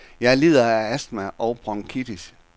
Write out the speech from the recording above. Jeg lider af astma og bronkitis.